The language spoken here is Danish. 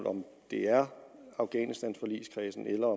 om det er afghanistanforligskredsen eller